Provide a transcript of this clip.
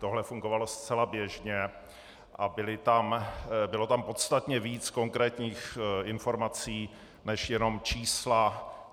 Tohle fungovalo zcela běžně a bylo tam podstatně víc konkrétních informací než jenom čísla.